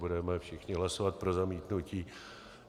Budeme všichni hlasovat pro zamítnutí.